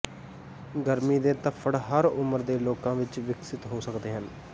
ਗਰਮੀ ਦੇ ਧੱਫੜ ਹਰ ਉਮਰ ਦੇ ਲੋਕਾਂ ਵਿਚ ਵਿਕਸਿਤ ਹੋ ਸਕਦੇ ਹਨ